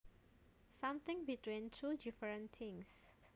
Something between two different things